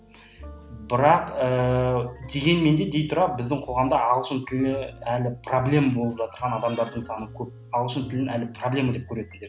бірақ ыыы дегенмен де дей тұра біздің қоғамда ағылшын тілі әлі проблема болып жатырған адамдардың саны көп ағылшын тілін әлі проблема деп көретіндер